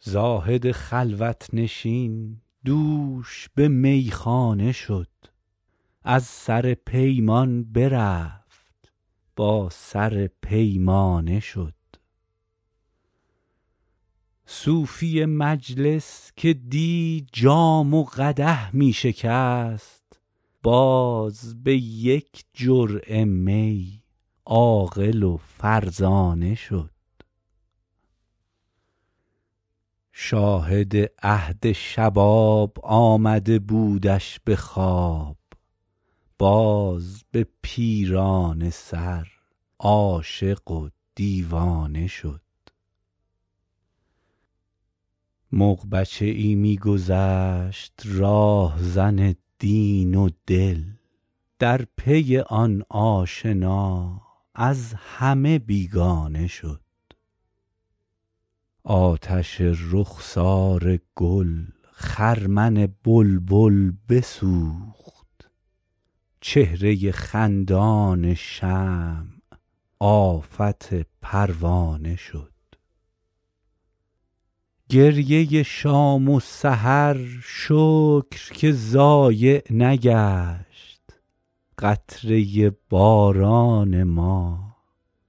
زاهد خلوت نشین دوش به میخانه شد از سر پیمان برفت با سر پیمانه شد صوفی مجلس که دی جام و قدح می شکست باز به یک جرعه می عاقل و فرزانه شد شاهد عهد شباب آمده بودش به خواب باز به پیرانه سر عاشق و دیوانه شد مغ بچه ای می گذشت راهزن دین و دل در پی آن آشنا از همه بیگانه شد آتش رخسار گل خرمن بلبل بسوخت چهره خندان شمع آفت پروانه شد گریه شام و سحر شکر که ضایع نگشت قطره باران ما